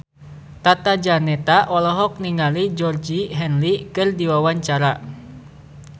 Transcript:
Tata Janeta olohok ningali Georgie Henley keur diwawancara